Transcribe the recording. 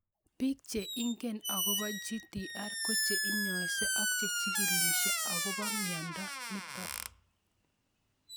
Piik che ingine akopo GTR ko che inyaise ak che chigílishe akopo miondo nitok